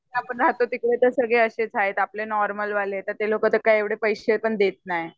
आपण राहतो तिकडे तर सगळे अशेच आहेत नॉर्मलवाले तर ते लोकं एवढे पैशे पण देत नाही